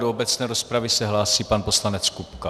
Do obecné rozpravy se hlásí pan poslanec Kupka.